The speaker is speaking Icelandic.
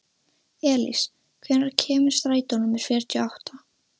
Elís, hvenær kemur strætó númer fjörutíu og átta?